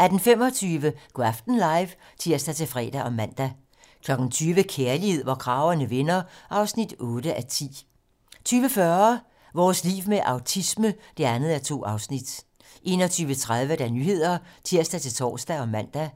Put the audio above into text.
18:25: Go' aften live (tir-fre og man) 20:00: Kærlighed, hvor kragerne vender (8:10) 20:40: Vores liv med autisme (2:2) 21:30: 21:30 Nyhederne (tir-tor og man) 22:00: